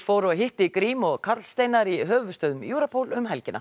hitti Grím og Karl Steinar í höfuðstöðvum Europol um helgina